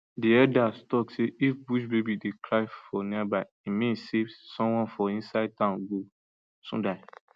the elders tok say if bushbaby dey cry for nearby e mean say someone for inside town go soon die